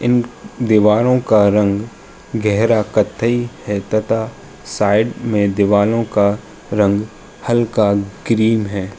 इन दीवारों का रंग गहरा कत्थई है तथा साइड में दीवारों का रंग हल्का ग्रीन है।